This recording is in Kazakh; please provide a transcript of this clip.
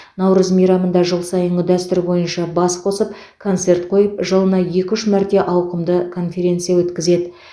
наурыз мейрамында жыл сайынғы дәстүр бойынша бас қосып концерт қойып жылына екі үш мәрте ауқымды конференция өткізеді